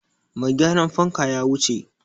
Mai gyaran fanka ya wuce.